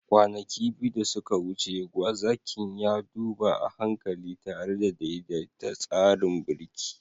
Kwanaki biyu da suka wuce, gwazakin ya duba a hankali tare da daidaita tsarin birki.